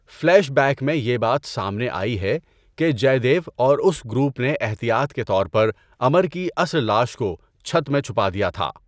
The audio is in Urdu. فلیش بیک میں یہ بات سامنے آئی ہے کہ جے دیو اور اس گروپ نے احتیاط کے طور پر امر کی اصل لاش کو چھت میں چھپا دیا تھا۔